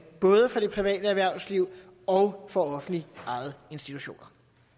for både det private erhvervsliv og for offentligt ejede institutioner